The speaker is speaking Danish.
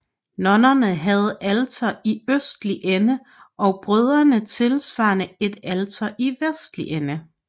Nonnerne havde alter i østlige ende og brødrene tilsvarende et alter i vestlige ende